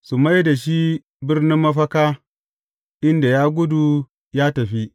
Su mai da shi birnin mafaka inda ya gudu ya tafi.